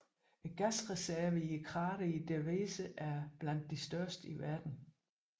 Gasreservene i krateret i Derveze er blandt de største i verden